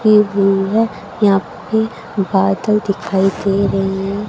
हुई है यहां पे बादल दिखाई दे रही है।